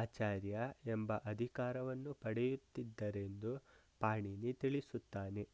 ಆಚಾರ್ಯಾ ಎಂಬ ಅಧಿಕಾರವನ್ನು ಪಡೆಯುತ್ತಿದ್ದರೆಂದು ಪಾಣಿನಿ ತಿಳಿಸುತ್ತಾನೆ